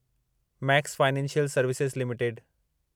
max financial services limited